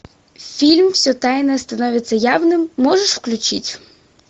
фильм все тайное становится явным можешь включить